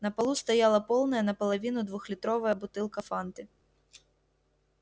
на полу стояла полная наполовину двухлитровая бутылка фанты